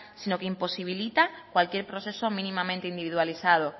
sino que imposibilita cualquier proceso mínimamente individualizado